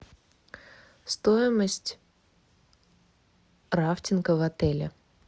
стоимость рафтинга в отеле